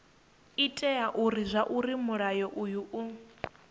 itela zwauri mulayo uyu u